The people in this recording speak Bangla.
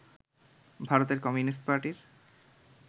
ভারতের কমিউনিস্ট পার্টির